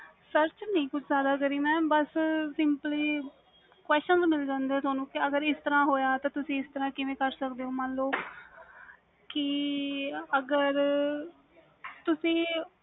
search ਨਹੀਂ ਕਿ ਮੈਂ ਬਸ simpley question ਮਿਲ ਜਾਂਦੇ ਵ ਤੁਹਾਨੂੰ ਅਗਰ ਇਸ ਤਰਾਂ ਹੋਇਆ ਵ ਮਨ ਲੋ ਕਿ ਅਗਰ ਤੁਸੀ